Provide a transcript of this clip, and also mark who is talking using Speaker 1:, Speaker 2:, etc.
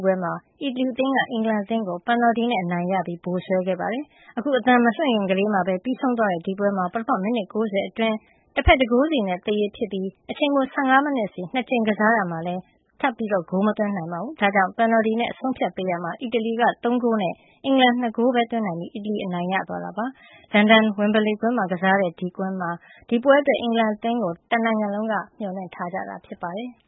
Speaker 1: ပွဲမှာ အီတလီအသင်းက အင်္ဂလန်အသင်းကို ပယ်နယ်လ်တီနဲ့ အနိုင်ရပြီး ဗိုလ်စွဲသွားပါတယ်။ အခု အသံမလွှင့်ခင်ကလေးမှာတင် ပြီးဆုံးသွားတဲ့ ဒီပွဲမှာ ပထမ မိနစ် ၉၀ အတွင်း တဖက် ၁ ဂိုးစီနဲ့ သရေဖြစ်နေခဲ့ပြီး အချိန်ပို ၁၅ မိနစ်စီ ၂ ကြိမ် ကစားရာမှာလည်း တဖက်နဲ့တဖက် ထပ်မံဂိုးသွင်းနိုင်ခြင်း မရှိခဲ့ပါဘူူး။ ဒါကြောင့် ပယ်နယ်လ်တီနဲ့ အဆုံးအဖြတ်ပေးရာမှာ အီတလီအသင်းက ၃ ဂိုးနဲ့ အင်္ဂလန်က ၂ ဂိုးပဲသွင်းနိုင်ပြီး အီတလီအသင်း အနိုင်ရသွားတာ ဖြစ်ပါတယ်။ လန်ဒန်မြို့ ဝင်ဘလေကွင်းမှာ ကစားရတဲ့ ဒီပွဲအတွက် အင်္ဂလန်အသင်းကို တနိုင်ငံလ
Speaker 2: ုံး အားခဲ မျှော်လင့်ထားကြတာလည်း ဖြစ်ပါတယ်။